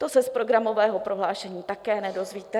To se z programového prohlášení také nedozvíte.